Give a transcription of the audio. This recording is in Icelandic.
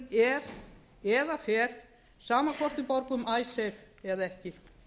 er eða fer sama hvort við borgum icesave eða ekki